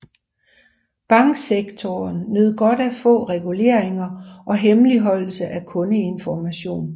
Banksektoren nød godt af få reguleringer og hemmeligholdelse af kundeinformation